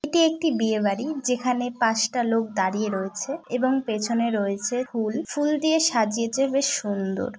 এটি একটি বিয়ে বাড়ি যেখানে পাঁচটা লোক দাঁড়িয়ে রয়েছে এবং পেছনে রয়েছে ফুল এবং ফুল দিয়ে সাজিয়েছে বেশ সুন্দর ।